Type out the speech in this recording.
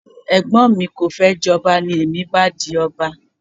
Ẹ̀gbọ́n mi kò fẹ́ jọba, ní èmi bá di ọba